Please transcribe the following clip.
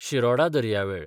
शिरोडा दर्यावेळ